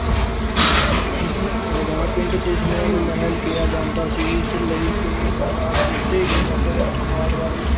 ਲਗਾਨ ਪਿੰਡ ਦੇ ਸਮੂ੍ਹ ਨੂੰ ਮਹਿਲ ਕਿਹਾ ਜਾਂਦਾ ਸੀ, ਇਸ ਲਈ ਇਹਨਾਂ ਨਾਲ ਕੀਤੇ ਗਏ ਬੰਦੋਬਸਤ ਮਾਲਵਾੜੀ